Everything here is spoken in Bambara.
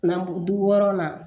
N'an du wɔɔrɔnan